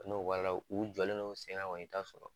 N'o bɔr'a la u jɔlen don sen kan kɔni i t'a sɔrɔ